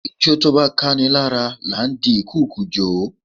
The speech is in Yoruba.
Ijó tó bá káni lára là ń di ìkùukùu jo.